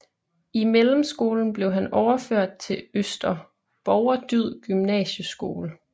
I mellemskolen blev han overført til Øster Borgerdyd Gymnasieskole